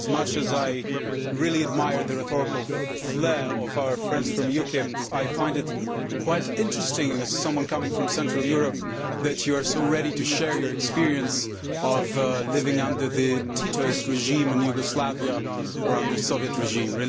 As much as I really admire the rhetorical flair of our friends from UKIP, I find it quite interesting as someone coming from Central Europe that you are so ready to share your experience of living under the Titoist regime in Yugoslavia or under the Soviet regime.